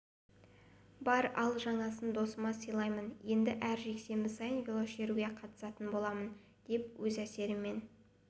бар ал жаңасын досыма сыйлаймын енді әр жексенбі сайын велошеруге қатысатын боламын деп өз әсерімен